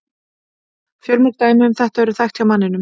Fjölmörg dæmi um þetta eru þekkt hjá manninum.